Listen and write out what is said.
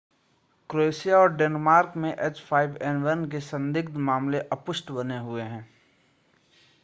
Croatia और Denmark में h5n1 के संदिग्ध मामले अपुष्ट बने हुए हैं